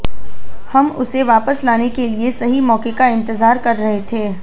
हम उसे वापस लाने के लिए सही मौके का इंतजार कर रहे थे